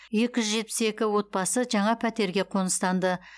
екі жүз жетпіс екі отбасы жаңа пәтерге қоныстанды